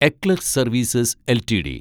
eClerx services LTD